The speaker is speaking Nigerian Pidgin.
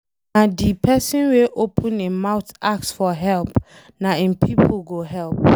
Na de pesin wey open im mouth ask for help na im pipo go help.